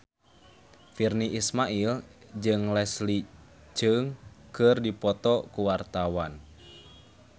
Virnie Ismail jeung Leslie Cheung keur dipoto ku wartawan